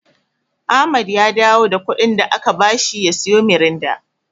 Ahmad ya dawo da kuɗin da aka bashi ya siyo Miranda.